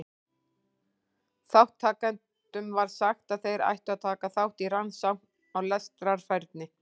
Þátttakendum var sagt að þeir ættu að taka þátt í rannsókn á lestrarfærni.